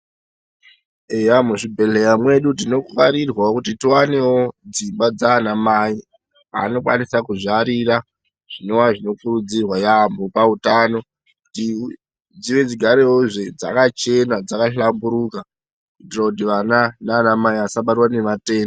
Eya muzvibhedhleta mwedu tifanirwawo kuti tiwanewo dzimba dzaanamai dzaanokwanisa kuzvarira zvinova zvinokurudzirwa yampho pautano kuti dzive dzinogara dzakachena dzakahlamburuka kuitira kuti vana nanamai vasabata ngematenda.